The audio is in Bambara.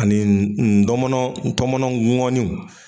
Ani n ntɔmɔnɔ tɔmɔnɔ ŋoniw